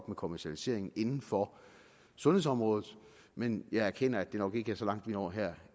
med kommercialiseringen inden for sundhedsområdet men jeg erkender at det nok ikke er så langt vi når her